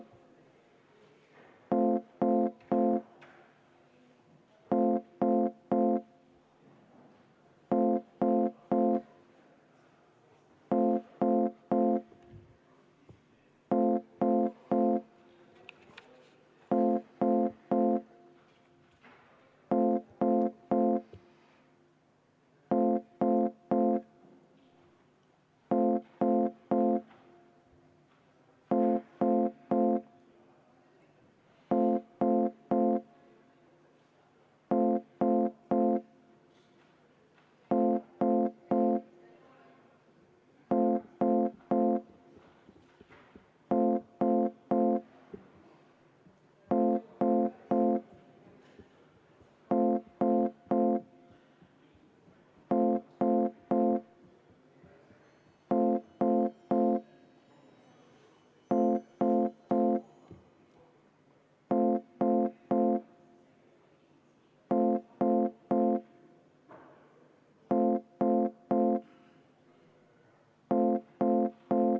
V a h e a e g